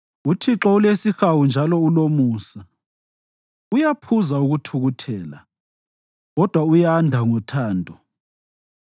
uThixo ulesihawu njalo ulomusa, uyaphuza ukuthukuthela, kodwa uyanda ngothando.